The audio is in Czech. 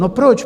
No proč?